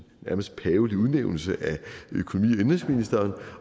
nærmest pavelig udnævnelse af økonomi